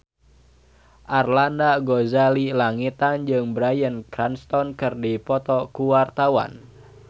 Arlanda Ghazali Langitan jeung Bryan Cranston keur dipoto ku wartawan